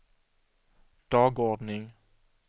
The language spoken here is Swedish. dagordning